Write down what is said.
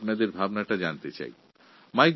আমি আপনাদের চিন্তাভাবনার বিষয়ে অবগত হতে চাই